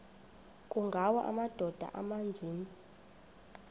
kungawa amadoda amaninzi